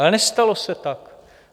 Ale nestalo se tak!